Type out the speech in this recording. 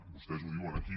vostès ho diuen aquí